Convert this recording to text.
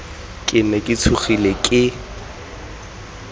ke ne ke tshogile ke